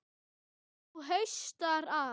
Nú haustar að.